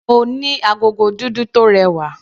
Mo ní agogo dúdú tó rẹwà.